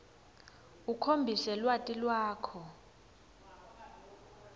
ukhombise lwati lwakho